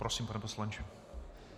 Prosím, pane poslanče.